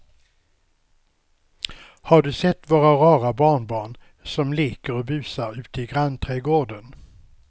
Har du sett våra rara barnbarn som leker och busar ute i grannträdgården!